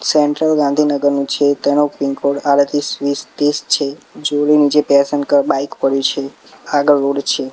Central ગાંધીનગરનુ છે તેનો પિનકોડ આડત્રીસ વીસ તીસ છે નીચે બાઇક પડ્યુ છે આગળ રોડ છે.